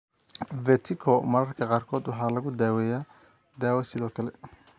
Vertigo mararka qaarkood waxaa lagu daaweeyaa dawo sidoo kale.